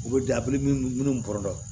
U bɛ da minnu bɔrɔ la